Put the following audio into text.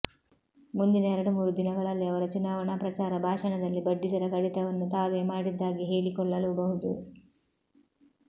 ಮುಂದಿನ ಎರಡು ಮೂರು ದಿನಗಳಲ್ಲಿ ಅವರ ಚುನಾವಣಾ ಪ್ರಚಾರ ಭಾಷಣದಲ್ಲಿ ಬಡ್ಡಿದರ ಕಡಿತವನ್ನೂ ತಾವೇ ಮಾಡಿದ್ದಾಗಿ ಹೇಳಿಕೊಳ್ಳಲೂಬಹುದು